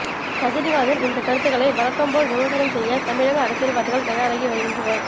ரஜினிகாந்தின் இந்த கருத்துக்களை வழக்கம்போல் விமர்சனம் செய்ய தமிழக அரசியல்வாதிகள் தயாராகி வருகின்றனர்